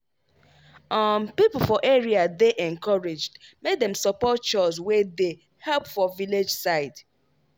um people for area dey encouraged make dem support chws wey dey help for village side.